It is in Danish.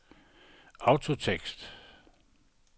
autotekst